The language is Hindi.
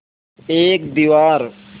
एक दीवार